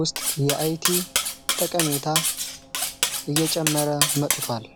ውስጥ የአይቲ ጠቀሜታ እየጨመረ መጥቷል።